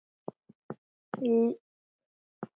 Lífið getur verið erfitt.